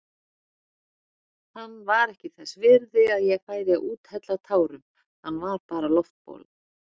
Hann var ekki þess virði að ég færi að úthella tárum, hann var bara loftbóla.